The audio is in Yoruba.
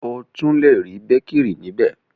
O tun le ri békìrì níbẹ̀.